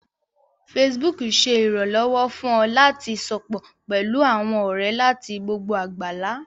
Facebook ṣé ìrànlọ́wọ́ fún ọ láti sopọ̀ pẹlú àwọn ọ̀rẹ́ láti gbogbo àgbálá